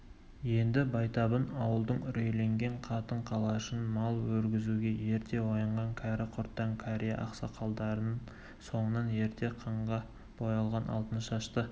енді байтабын ауылдың үрейленген қатын-қалашын мал өргізуге ерте оянған кәрі-құртаң кәрия-ақсақалдарын соңынан ерте қанға боялған алтыншашты